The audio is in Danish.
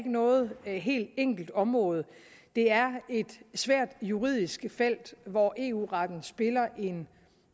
noget helt enkelt område det er et svært juridisk felt hvor eu retten spiller en